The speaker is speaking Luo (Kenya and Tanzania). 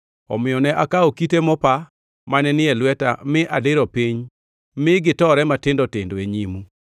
Omiyo ne akawo kite mopa mane ni e lweta mi adiro piny ma gitore matindo tindo e nyimu.